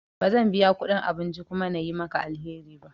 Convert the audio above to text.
Ba zan biya kudin abinci kuma na yi maka alheri ba.